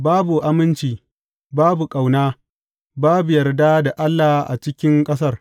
Babu aminci, babu ƙauna, babu yarda da Allah a cikin ƙasar.